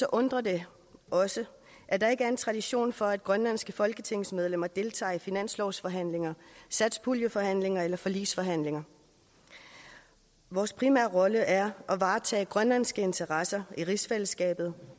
undrer det også at der ikke er en tradition for at grønlandske folketingsmedlemmer deltager i finanslovsforhandlinger satspuljeforhandlinger eller forligsforhandlinger vores primære rolle er at varetage grønlandske interesser i rigsfællesskabet